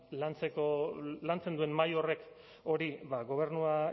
lantzen duen mahai horrek hori gobernua